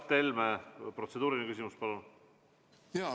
Mart Helme, protseduuriline küsimus, palun!